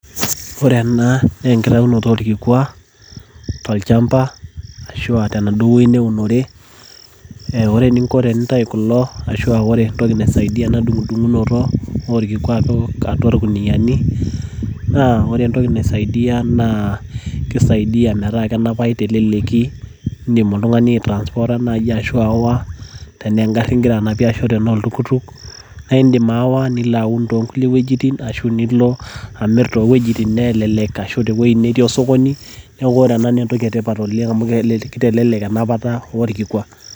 ore ena naa enkitaunoto oo irkikwa tolchamba, ore entoki naisaidia ena dung'udunoto naa kisaidia meeta keneneng' tenapata metaa kenapau teleleki ,tenaa egari, ashu oltukutuk, naa idim aawa nilaun toongulie wejitin nilo sii amir.